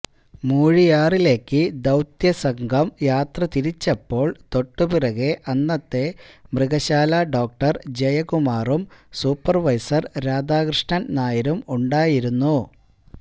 മൂഴിയാറിലേക്ക് ദൌത്യസംഘം യാത്രതിരിച്ചപ്പോള് തൊട്ടുപിറകെ അന്നത്തെ മൃഗശാലാ ഡോക്ടര് ജയകുമാറും സൂപ്പര്വൈസര് രാധാകൃഷ്ണന് നായരും ഉണ്ടായിരുന്നു